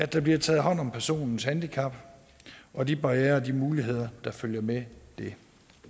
der bliver taget hånd om personens handicap og de barrierer og muligheder der følger med det